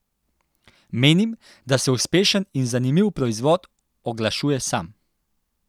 Menim, da se uspešen in zanimiv proizvod oglašuje sam.